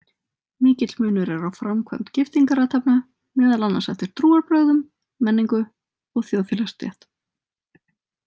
Mikill munur er á framkvæmd giftingarathafna, meðal annars eftir trúarbrögðum, menningu og þjóðfélagsstétt.